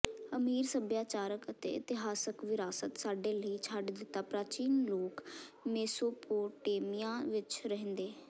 ਅਮੀਰ ਸਭਿਆਚਾਰਕ ਅਤੇ ਇਤਿਹਾਸਕ ਵਿਰਾਸਤ ਸਾਡੇ ਲਈ ਛੱਡ ਦਿੱਤਾ ਪ੍ਰਾਚੀਨ ਲੋਕ ਮੇਸੋਪੋਟੇਮੀਆ ਵਿਚ ਰਹਿੰਦੇ